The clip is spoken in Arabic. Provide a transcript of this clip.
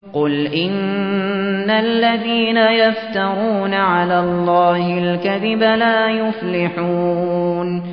قُلْ إِنَّ الَّذِينَ يَفْتَرُونَ عَلَى اللَّهِ الْكَذِبَ لَا يُفْلِحُونَ